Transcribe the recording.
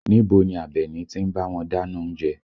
Níbo ni Abeni ti ń bá wọn dáná oúnjẹ?